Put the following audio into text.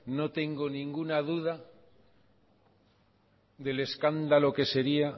no tengo ninguna duda del escándalo que sería